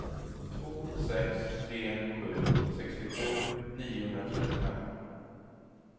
två sex tre sju sextiosju niohundratrettiofem